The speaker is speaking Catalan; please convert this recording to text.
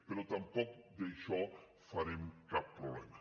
però tampoc d’això en farem cap problema